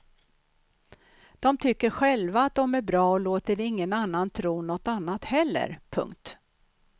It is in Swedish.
De tycker själva att de är bra och låter ingen annan tro något annat heller. punkt